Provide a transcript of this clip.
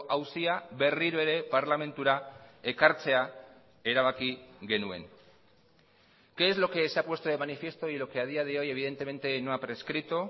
auzia berriro ere parlamentura ekartzea erabaki genuen qué es lo que se ha puesto de manifiesto y lo que a día de hoy evidentemente no ha prescrito